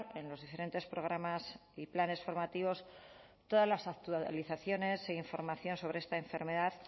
en los diferentes programas y planes formativos todas las actualizaciones e información sobre esta enfermedad